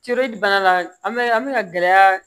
Ceri bana la an bɛ an bɛ ka gɛlɛya